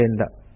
Bombay